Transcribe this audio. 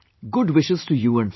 Good wishes to you and family